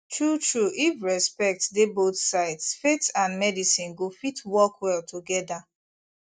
truetrue if respect dey both sides faith and medicine go fit work well together